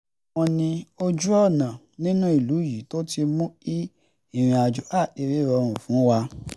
lára wọn ni ojú-ọ̀nà nínú ìlú yìí tó ti mú kí ìrìnàjò káàkiri rọrùn fún wa